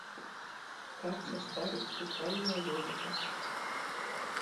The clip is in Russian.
как состарить сусальное золото